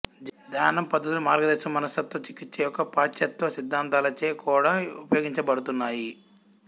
ధ్యానం పద్ధతులు మార్గదర్శకం మనస్తత్వ చికిత్స యొక్క పాశ్చాత్య సిద్ధాంతలచే కూడా ఉపయోగించబడుతున్నాయి